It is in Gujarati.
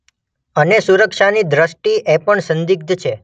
અને સુરક્ષાની દૃષ્ટિએ પણ સંદિગ્ધ છે.